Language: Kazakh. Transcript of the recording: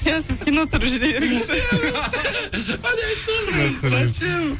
иә сіз кино түсіріп жүре беріңізші